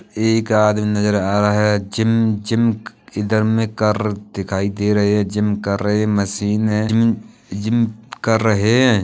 एक आदम् नजर आ रहा है जिम जिम क्-इधर में करर् दिखाई दे रहे है। जिम कर रहे मशीन है। जिम जिम कर रहे हैं।